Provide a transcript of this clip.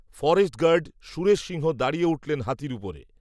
forest guard, Suresh Singh দাঁড়িয়ে উঠলেন, হাতীর উপরে